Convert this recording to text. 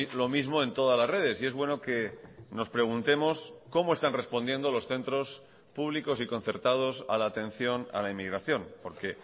lo mismo en todas las redes y es bueno que nos preguntemos cómo están respondiendo los centros públicos y concertados a la atención a la inmigración porque